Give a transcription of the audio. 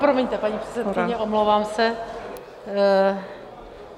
Promiňte, paní předsedkyně, omlouvám se.